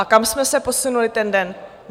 A kam jsme se posunuli ten den?